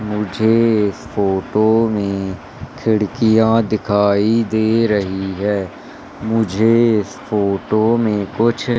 मुझे इस फोटो में खिड़कियां दिखाई दे रही है मुझे इस फोटो में कुछ--